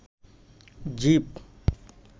জীব